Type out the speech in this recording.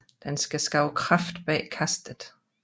Den skal skabe kraft bag kastet